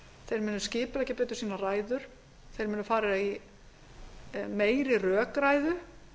þeir munu skipuleggja betur sínar ræður þeir munu fara í meiri rökræðu